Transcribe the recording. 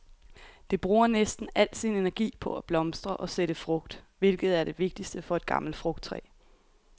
Det bruger næsten al sin energi på at blomstre og sætte frugt, hvilket er det vigtigste for et gammelt frugttræ.